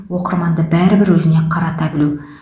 оқырманды бәрібір өзіне қарата білу